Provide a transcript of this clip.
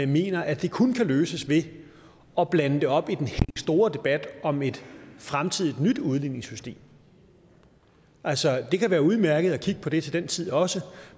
mener at det kun kan løses ved at blande det op i den helt store debat om et fremtidigt nyt udligningssystem altså det kan være udmærket at kigge på det til den tid også